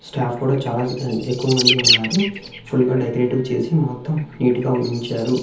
Staff కూడా చాలా ఎక్కువమంది ఉన్నారు. ఫుల్ గా డెకరేటివ్ చేసి మొత్తం నీట్ గా ఉంచారు.